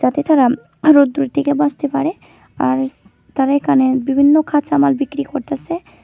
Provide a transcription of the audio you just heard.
যাতে তারা আরো রোদ্দুরের থেকে বাঁচতে পারে আর তারা এখানে বিভিন্ন কাঁচামাল বিক্রি করতাছে।